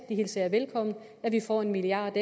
det hilser jeg velkommen at vi får en milliard